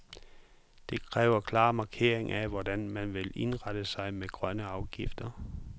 De kræver klar markering af hvordan man vil indrette sig med grønne afgifter.